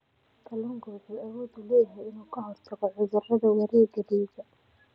Kalluunku wuxuu awood u leeyahay inuu ka hortago cudurrada wareegga dhiigga.